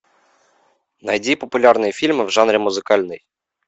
найди популярные фильмы в жанре музыкальный